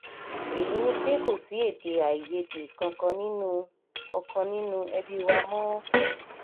èyíi ni pé kò sí èdè-àìyedè kankan nínú kankan nínú ẹbí wa mọ́ o